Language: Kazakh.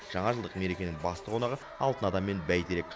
жаңажылдық мерекенің басты қонағы алтын адам мен бәйтерек